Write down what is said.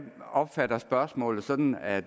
opfatter spørgsmålet sådan at